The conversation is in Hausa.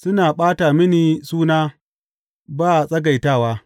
Suna ɓata mini suna ba tsagaitawa.